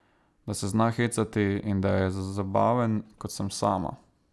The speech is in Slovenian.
Da se zna hecati in da je zabaven, kot sem sama.